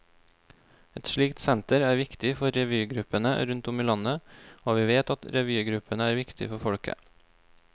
Et slikt senter er viktig for revygruppene rundt om i landet, og vi vet at revygruppene er viktige for folket.